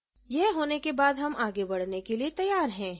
यह होने के बाद हम आगे बढ़ने के लिए तैयार हैं